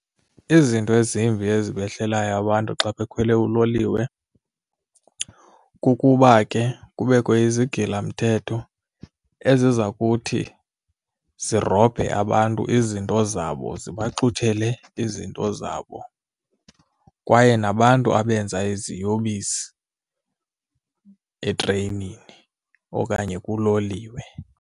Izinto ezimbi ezibehlelayo abantu xa bekhwele uloliwe kukuba ke kubekho izigilamthetho eziza kuthi zirobhe abantu izinto zabo zibaxuthele izinto zabo kwaye nabantu abenza iziyobisi etreyinini okanye kuloliwe.